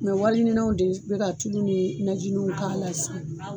wari ɲininaw de be ka tulu ni najiniw k'a la sisan